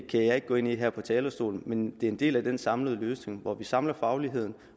kan jeg ikke gå ind i her fra talerstolen men det er en del af den samlede løsning hvor vi samler fagligheden